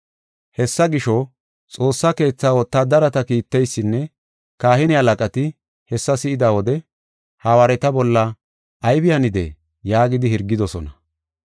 Hessa gisho, Xoossa Keethaa wotaadareta kiitteysinne kahine halaqati hessa si7ida wode, “Hawaareta bolla aybi hanidee?” yaagidi hirgidosona.